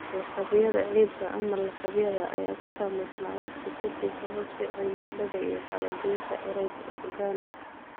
Lakabyada ciidda, ama lakabyada, ayaa ku samaysma waqti ka dib habab sida cimilada iyo kala-goynta organic.